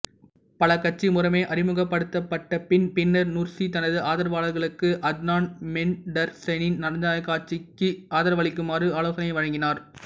பல் கட்சி முறைமை அறிமுகப்படுத்தப்பட்டதன் பின்னர் நுர்சி தனது ஆதரவாளர்களுக்கு அத்னான் மென்டர்ஸின் ஜனநாயகக் கட்சிக்கு ஆதரவளிக்குமாறு ஆலோசனை வழங்கினார்